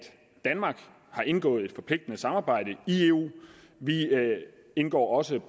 danmark har indgået et forpligtende samarbejde i eu vi indgår også